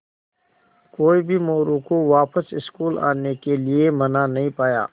कोई भी मोरू को वापस स्कूल आने के लिये मना नहीं पाया